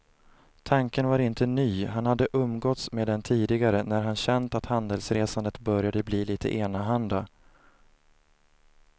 Tanken var inte ny, han hade umgåtts med den tidigare när han känt att handelsresandet började bli lite enahanda.